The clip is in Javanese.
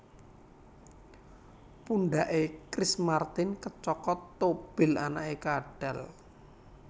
Pundak e Chris Martin kecokot tobil anake kadhal